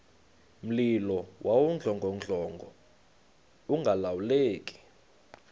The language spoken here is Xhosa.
mlilo wawudlongodlongo ungalawuleki